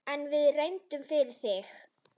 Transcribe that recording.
En við reynum, fyrir þig.